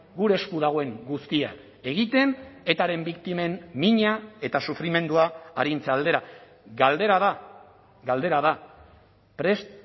gure esku dagoen guztia egiten etaren biktimen mina eta sufrimendua arintze aldera galdera da galdera da prest